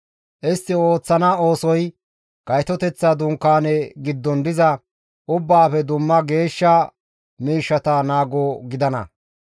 Istti ooththana oosoy Gaytoteththa Dunkaaneza giddon diza ubbaafe dumma geeshsha miishshata naago gidana.